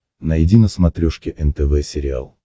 найди на смотрешке нтв сериал